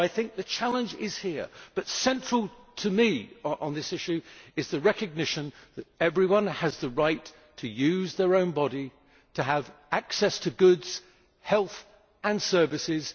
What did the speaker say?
The challenge is here, but central to me on this issue is the recognition that everyone has the right to use their own body and to have access to goods, health and services.